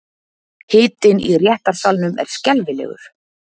Hitinn í réttarsalnum er skelfilegur.